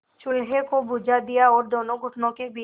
चूल्हे को बुझा दिया और दोनों घुटनों के बीच